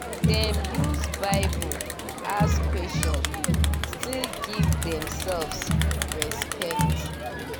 dem use bible ask question still give themselves respect